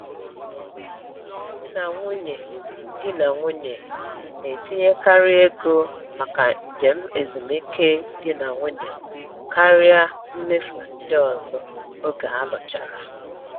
Di na nwunye Di na nwunye na-etinyekarị ego maka njem ezumike di na nwunye karịa mmefu ndị ọzọ oge alụchara.